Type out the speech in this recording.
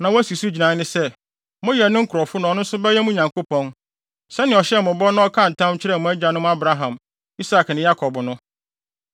na wasi so gyinae sɛ nnɛ, moyɛ ne nkurɔfo na ɔno nso bɛyɛ mo Nyankopɔn, sɛnea ɔhyɛɛ mo bɔ no na ɔkaa ntam kyerɛɛ mo agyanom Abraham, Isak ne Yakob no.